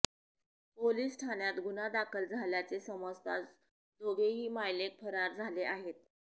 police ठाण्यात गुन्हा दाखल झाल्याचे समजताच दोघेही मायलेक फरार झाले आहेत